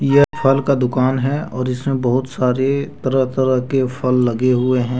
यह फल का दुकान है और इसमें बहुत सारे तरह तरह के फल लगे हुए हैं।